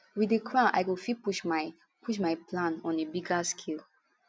wit di crown i go fit push my push my plan on a bigger scale